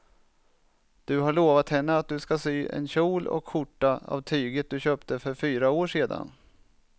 Du har lovat henne att du ska sy en kjol och skjorta av tyget du köpte för fyra år sedan.